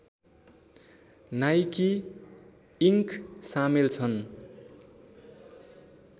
Nike Inc सामेल छन्